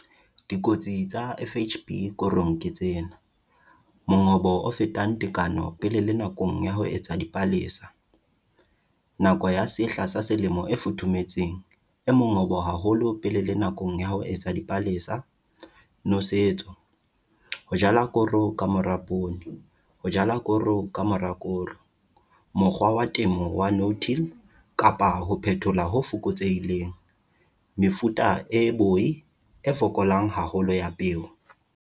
Dikotsi tsa FHB korong ke tsena - Mongobo o fetang tekano pele le nakong ya ho etsa dipalesa, nako ya sehla sa selemo e futhumetseng, e mongobo haholo pele le nakong ya ho etsa dipalesa, nosetso, ho jala koro ka mora poone, ho jala koro ka mora koro, mokgwa wa temo wa no-till kapa ho phethola ho fokotsehileng, mefuta e boi-fokolang haholo ya peo.